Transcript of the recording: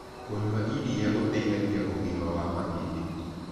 Kũnyua ĩrĩa gũteĩthagĩa ũgima wa mahĩndĩ